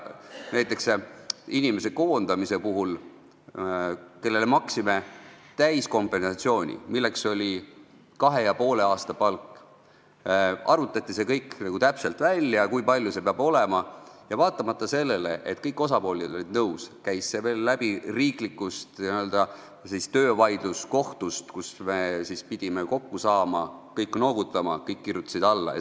Näiteks siis, kui koondati inimene, kellele me maksime täiskompensatsiooni, milleks oli kahe ja poole aasta palk, arvutati täpselt välja, kui suur see peab olema, ja vaatamata sellele, et kõik osapooled olid nõus, käis see veel läbi riiklikust n-ö töövaidluskohtust, kus me pidime kõik kokku saama, kõik noogutama, kõik alla kirjutama.